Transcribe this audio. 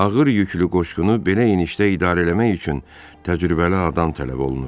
Ağır yüklü qoşqunu belə enişdə idarə eləmək üçün təcrübəli adam tələb olunurdu.